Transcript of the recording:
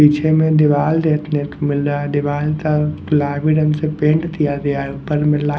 पीछे में दीवाल देखने को मिल रहा है दीवाल का गुलाबी रंग से पेंट दिया ऊपर मिल रहा --